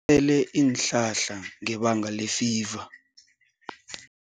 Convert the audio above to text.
ele iinhlahla ngebanga lefiva.